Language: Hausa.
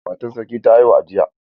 Matar sarki ta haihu a jiya.